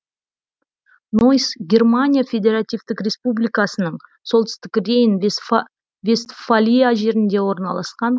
нойс германия федеративтік республикасының солтүстік рейн вестфалия жерінде орналасқан